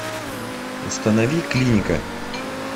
установи клиника